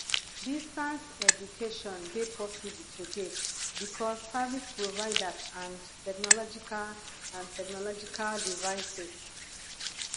distance education de possible today because service providers and technological and technological devices